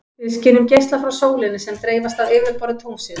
Við skynjum geisla frá sólinni sem dreifast af yfirborði tunglsins.